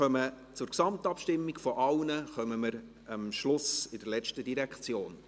Zur Gesamtabstimmung über alle Direktionen kommen wir am Schluss bei der letzten Direktion.